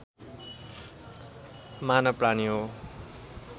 मानवप्राणी हो